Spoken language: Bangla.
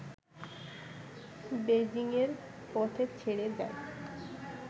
বেইজিংয়ের পথে ছেড়ে যায়